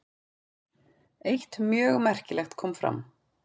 Eitt mjög merkilegt kom fram.